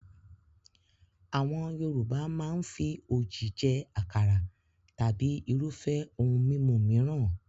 Àwọn Yorùbá máa ń fi òjì jẹ àkàrà tàbí irúfẹ́ ohun mímu mìíràn.